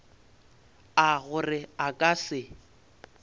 a gore a ka se